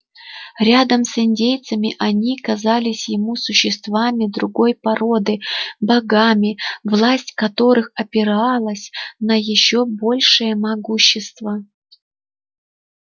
рядом с индейцами они казались ему существами другой породы богами власть которых опиралась на ещё большее могущество